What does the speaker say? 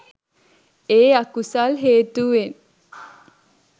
ඒ අකුසල් හේතුවෙන්